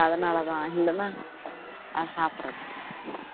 அதனாலதான் இல்லைன்னா சாப்படறது இல்லை